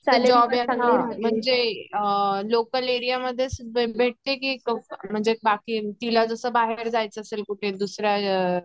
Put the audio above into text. job हे आपल्याला म्हणजे लोकल एरिया मधेच भेटते की म्हणजे बाकी तिला जस बाहेर जायच असेल कुठे